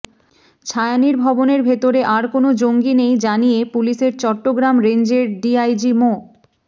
ছায়ানীড় ভবনের ভেতরে আর কোনো জঙ্গি নেই জানিয়ে পুলিশের চট্টগ্রাম রেঞ্জের ডিআইজি মো